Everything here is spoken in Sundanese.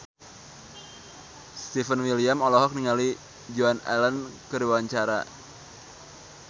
Stefan William olohok ningali Joan Allen keur diwawancara